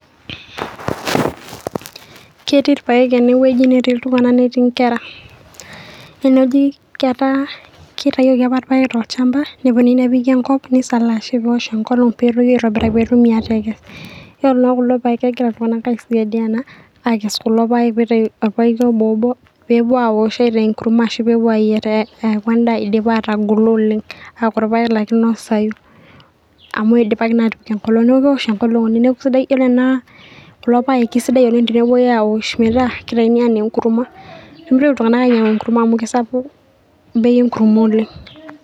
ketii irpayek enewueji netii iltung'anak netii inkera eneji ketaa kitayioki apa irpayek tolchamba neponui nepiki enkop nisalaashi pewosh enkolong peetoyu aitobiraki petumi atekes yiolo naa kulo payek kegira iltung'anak aisaidiana akes kulo payek pitayu orpaeki obo obo peepuo awosh aitaa enkurma ashu peepuo ayierr eku endaa idipa atagolo oleng aaku irpayek laa kinosayu amu idipaki naa atipik enkolong neeku kewosh enkolong oleng neeku isidai, yiolo ena kulo paek kisidai oleng tenepuoi awosh metaa kitaini anaa enkurma peemitoki iltung'anak ainyiang'u enkurma amu amu kisapuk bei enkurma oleng.